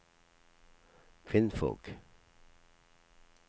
kvinnfolk